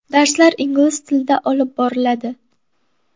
Darslar ingliz tilida olib boriladi.